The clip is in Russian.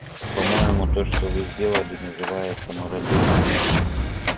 по-моему то что вы сделали называется мародёрством